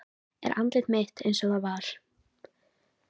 Er andlit mitt einsog það var.